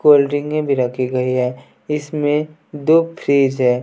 Cold drink में भी रखी गई है इसमें दो फ्रिज है।